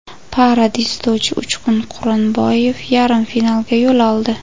Para dzyudochi Uchqun Quronboyev yarim finalga yo‘l oldi.